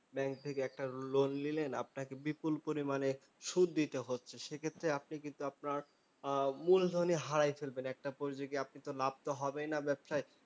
Bank থেকে একটা loan নিলেন। আপানাকে বিপুল পরিমানে সুদ দিতে হচ্ছে, সেক্ষেত্রে আপনি কিন্তু আপনার মূলধনই কিন্তু হারাইয়া ফেলবেন। একটা পর্যায়ে গিয়ে আপনি তো লাভ তো হবেই না ব্যবসায়,